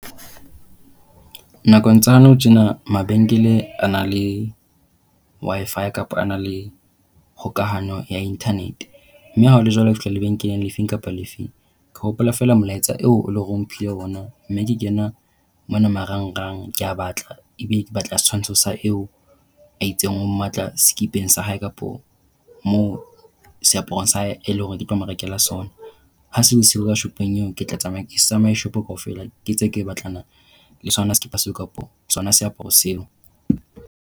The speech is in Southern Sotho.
Nakong tsa nou tjena mabenkele a nang le Wi-Fi kapa a na le kgokahanyo ya internet. Mme ha hole jwalo, ke fihla lebenkeleng le fe kapa le fe. Ke hopola feela molaetsa eo e leng hore o mphile yona mme ke kena mona marangrang, ke a batla. Ebe ke batla setshwantsho sa eo a itseng o mmatla sekipeng sa hae kapa moo seaparong sa hae e leng hore ke tlo mo rekela sona. Ha se le siyo ka shopong eo ke tla tsamaya. Nka se tsamaye shopo kaofela ke ntse ke batlana le sona sekipa seo kapa sona seaparo seo.